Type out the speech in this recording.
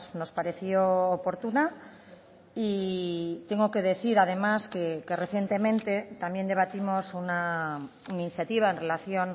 nos pareció oportuna y tengo que decir además que recientemente también debatimos una iniciativa en relación